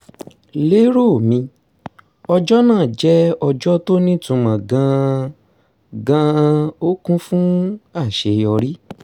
lero mi ọjọ́ náà jẹ́ ọjọ́ tó nítumọ̀ gan-an gan-an ó kún fún àṣeyọrí